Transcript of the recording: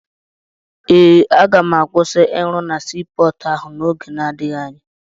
Eh, aga m akwụsị ịrụ na sii pọọtụ ahụ n'oge na-adịghị anya.